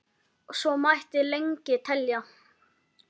Og svo mætti lengi telja.